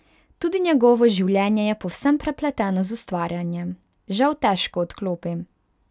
Tudi njegovo življenje je povsem prepleteno z ustvarjanjem: 'Žal težko odklopim.